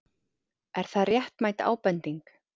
Er það réttmæt ábending?